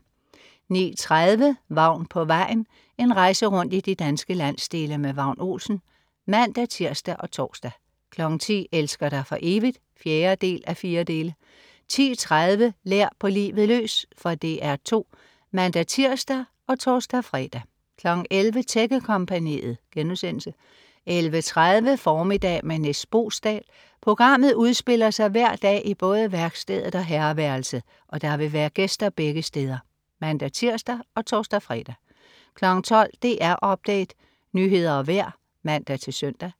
09.30 Vagn på vejen. En rejse rundt i de danske landsdele med Vagn Olsen (man-tirs og tors) 10.00 Elsker dig for evigt? 4:4 10.30 Lær på livet løs. Fra DR 2 (man-tirs og tors-fre) 11.00 Tækkekompagniet* 11.30 Formiddag med Nis Boesdal. Programmet udspiller sig hver dag i både værkstedet og herreværelset, og der vil være gæster begge steder (man-tirs og tors-fre) 12.00 DR Update. Nyheder og vejr (man-søn)